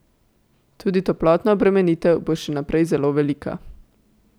Tudi toplotna obremenitev bo še naprej zelo velika.